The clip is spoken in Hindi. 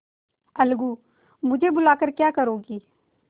अलगूमुझे बुला कर क्या करोगी